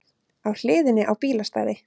Á hliðinni á bílastæði